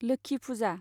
लोखि पुजा